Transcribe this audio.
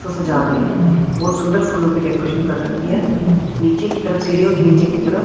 सब जा रहे हैं बहुत सुंदर फूलों की डेकोरेशन कर रखी है। नीचे की तरफ सीडीओ के नीचे की तरफ--